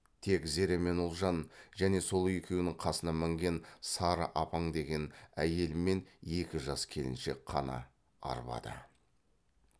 тек зере мен ұлжан және сол екеуінің қасына мінген сары апаң деген әйел мен екі жас келіншек қана арбада